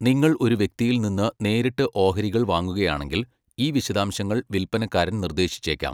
നിങ്ങൾ ഒരു വ്യക്തിയിൽ നിന്ന് നേരിട്ട് ഓഹരികൾ വാങ്ങുകയാണെങ്കിൽ, ഈ വിശദാംശങ്ങൾ വിൽപ്പനക്കാരൻ നിർദ്ദേശിച്ചേക്കാം.